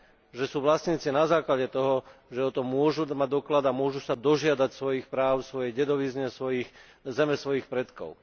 že sú vlastníci na základe toho, že o tom môžu mať doklad a môžu sa dožiadať svojich práv, svojej dedovizne, zeme svojich predkov.